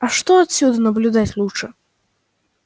а что отсюда наблюдать лучше